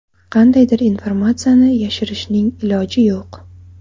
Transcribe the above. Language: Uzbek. Qandaydir informatsiyani yashirishning iloji yo‘q.